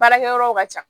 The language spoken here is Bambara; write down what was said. Baarakɛ yɔrɔw ka ca